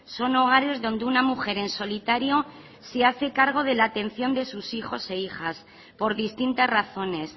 son hogares donde una mujer en solitario se hace cargo de la atención de sus hijos e hijas por distintas razones